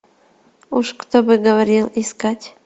уж кто бы говорил искать